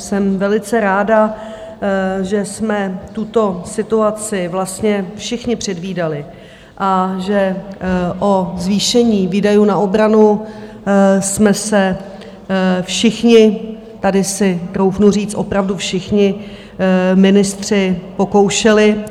Jsem velice ráda, že jsme tuto situaci vlastně všichni předvídali a že o zvýšení výdajů na obranu jsme se všichni - tady si troufnu říct, opravdu všichni ministři - pokoušeli.